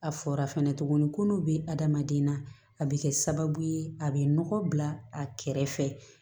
A fɔra fɛnɛ tuguni ko n'u bɛ adamaden na a bɛ kɛ sababu ye a bɛ nɔgɔ bila a kɛrɛfɛ